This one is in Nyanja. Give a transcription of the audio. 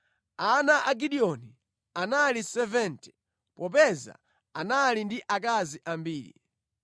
Ana a Gideoni anali 70 popeza anali ndi akazi ambiri.